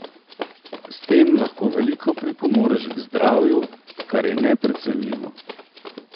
S tem lahko veliko pripomoreš k zdravju, kar je neprecenljivo.